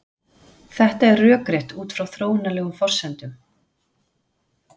þetta er rökrétt út frá þróunarlegum forsendum